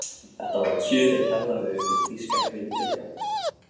Þetta var kjörið ferðaveður fyrir þýska bryndreka.